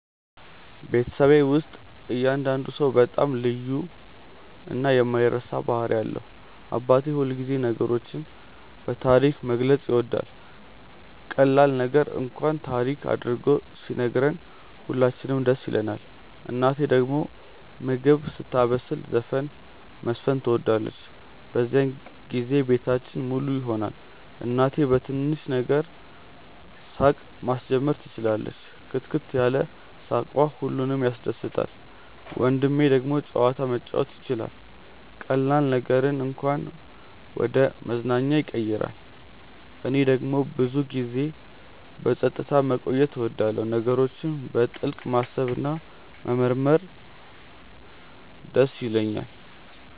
በቤተሰቤ ውስጥ እያንዳንዱ ሰው በጣም ልዩ እና የማይረሳ ባህሪ አለው። አባቴ ሁልጊዜ ነገሮችን በታሪክ መግለጽ ይወዳል፤ ቀላል ነገር እንኳን ታሪክ አድርጎ ሲነግረን ሁላችንም ደስ ይለንናል። እናቴ ደግሞ ምግብ ስታበስል ዘፈን መዝፈን ትወዳለች፤ በዚያን ጊዜ ቤታችን ሙሉ ይሆናል። እህቴ በትንሽ ነገር ሳቅ ማስጀመር ትችላለች፣ ክትክት ያለ ሳቅዋ ሁሉንም ያስደስታል። ወንድሜ ደግሞ ጨዋታ መጫወት ይችላል፤ ቀላል ነገርን እንኳን ወደ መዝናኛ ያቀይራል። እኔ ደግሞ ብዙ ጊዜ በጸጥታ መቆየት እወዳለሁ፣ ነገሮችን በጥልቅ ማሰብ እና መመርመር ይደስ ይለኛል።